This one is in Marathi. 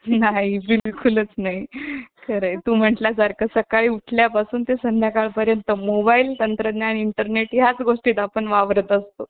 नाही बिलकुलच नाही तू म्हणल्यासारखं सकाळी उठल्यापासून ते संध्याकाळपर्यंत Mobile तंत्रज्ञान Internet याच गोष्टीत आपण वावरत असतो